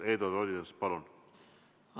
Eduard Odinets, palun!